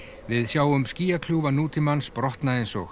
við sjáum nútímans brotna eins og